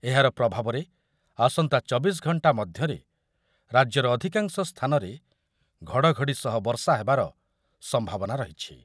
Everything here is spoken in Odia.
ଏହାର ପ୍ରଭାବରେ ଆସନ୍ତା ଚବିଶ ଘଣ୍ଟା ମଧ୍ୟରେ ରାଜ୍ୟର ଅଧିକାଂଶ ସ୍ଥାନରେ ଘଡ଼ଘଡ଼ି ସହ ବର୍ଷା ହେବାର ସମ୍ଭାବନା ରହିଛି।